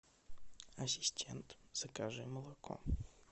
ассистент закажи молоко